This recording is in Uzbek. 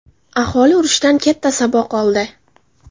Aholi urushdan katta saboq oldi.